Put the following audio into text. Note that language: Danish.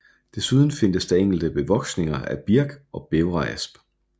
Desuden findes der enkelte bevoksninger af birk og bævreasp